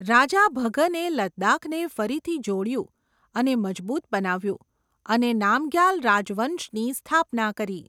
રાજા ભગને લદ્દાખને ફરીથી જોડ્યુ અને મજબૂત બનાવ્યું અને નામગ્યાલ રાજવંશની સ્થાપના કરી.